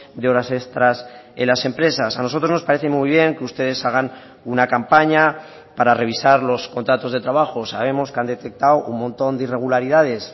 de horas extras en las empresas a nosotros nos parece muy bien que ustedes hagan una campaña para revisar los contratos de trabajo sabemos que han detectado un montón de irregularidades